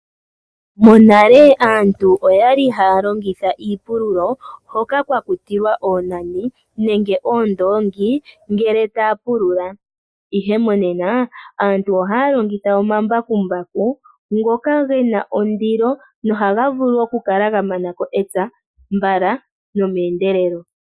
Monale aantu oyali haya longitha iipululo hoka kwa kutilwa oonani nenge oondongi ngele taya pulula ihe monena aantu ohaya longitha omambakumbaku ngoka gena ondilo nohaga vulu okukala ga manako epya mbala nome endelelo.